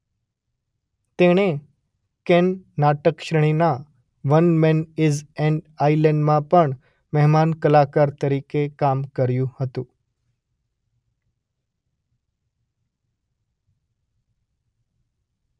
તેણે કેન નાટક શ્રેણીના વન મેન ઇઝ એન્ડ આઇલેન્ડમાં પણ મહેમાન કલાકાર તરીકે કામ કર્યું હતું.